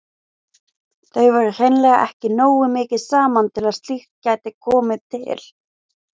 Þau voru hreinlega ekki nógu mikið saman til að slíkt gæti komið til.